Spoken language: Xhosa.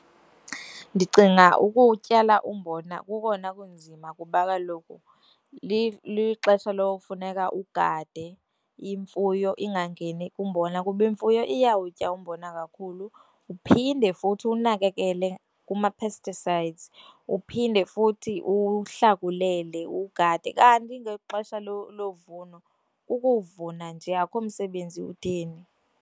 Ndicinga ukutyala umbona kukona kunzima kuba kaloku lixesha lokufuneka ugade imfuyo ingangeni kumbona kuba imfuyo iyawutya umbona kakhulu, uphinde futhi uwunakekele kuma-pesticides, uphinde futhi uwuhlakulele ugade kanti ngexesha lovuno ukuvuna nje akho msebenzi utheni.